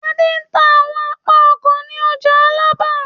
Adé ń ta àwọn apá ọkọ̀ ní ọjà Alábà.